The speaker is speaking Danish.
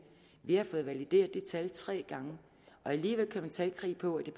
har fået valideret det tal tre gange og alligevel kører man talkrig på at det